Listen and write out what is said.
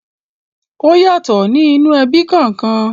Ọ́ yàtọ̀ ní inú ẹbí kọ̀ọ̀kan.